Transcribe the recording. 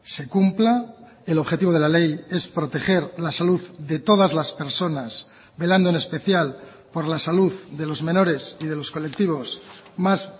se cumpla el objetivo de la ley es proteger la salud de todas las personas velando en especial por la salud de los menores y de los colectivos más